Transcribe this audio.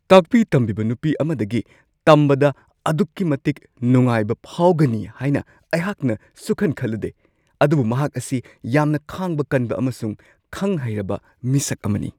ꯇꯥꯛꯄꯤ-ꯇꯝꯕꯤꯕ ꯅꯨꯄꯤ ꯑꯃꯗꯒꯤ ꯇꯝꯕꯗ ꯑꯗꯨꯛꯀꯤ ꯃꯇꯤꯛ ꯅꯨꯡꯉꯥꯏꯕ ꯐꯥꯎꯒꯅꯤ ꯍꯥꯏꯅ ꯑꯩꯍꯥꯛꯅ ꯁꯨꯛꯈꯟ-ꯈꯜꯂꯨꯗꯦ, ꯑꯗꯨꯕꯨ ꯃꯍꯥꯛ ꯑꯁꯤ ꯌꯥꯝꯅ ꯈꯥꯡꯕ ꯀꯟꯕ ꯑꯃꯁꯨꯡ ꯈꯪ-ꯍꯩꯔꯕ ꯃꯤꯁꯛ ꯑꯃꯅꯤ ꯫